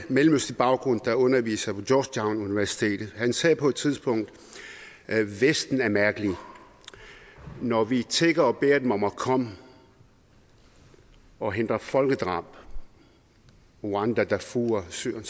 mellemøstlig baggrund der underviser på georgetown universitet han sagde på et tidspunkt vesten er mærkelig når vi tigger og beder dem om at komme og hindre folkedrab i rwanda darfur syrien